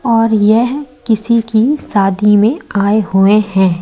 और यह किसी की शादी में आए हुए हैं।